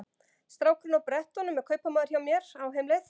Strákurinn á brettunum er kaupamaður hjá mér, á heimleið.